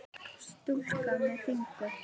Stúlka með fingur.